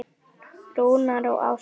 Rúna og Ásgeir.